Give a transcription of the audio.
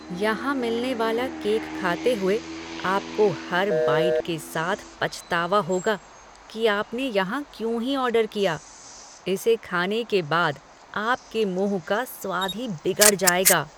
यहां मिलने वाला केक खाते हुए आपको हर बाइट के साथ पछतावा होगा कि आपने यहां क्यों ही ऑर्डर किया, इसे खाने के बाद आपके मुंह का स्वाद ही बिगड़ जाएगा।